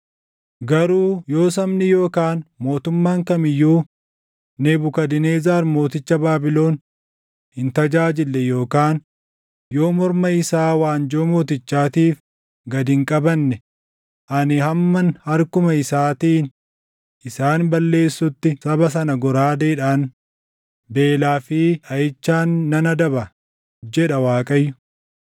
“‘ “Garuu yoo sabni yookaan mootummaan kam iyyuu Nebukadnezar mooticha Baabilon hin tajaajille yookaan yoo morma isaa waanjoo mootichaatiif gad hin qabanne ani hamman harkuma isaatiin isaan balleessutti saba sana goraadeedhaan, beelaa fi dhaʼichaan nan adaba, jedha Waaqayyo.